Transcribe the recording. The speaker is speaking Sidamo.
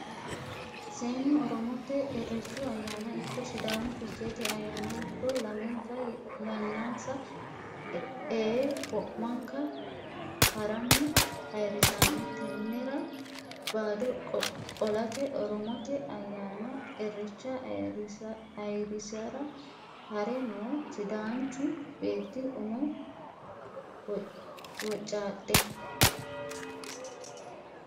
Seennu oromote irechu ayyanna ikko sidaamu ficheete ayyanna ikko lamenka yannansa ee wo'mankawa harani ayirrisano tenera bado qo'late oromote ayyanna irecha ayirrisara ha're no sidaanchu beetti umo wocadhe.